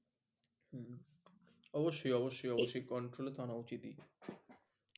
অবশ্যই অবশ্যই অবশ্যই control এ তো আনা উচিৎই।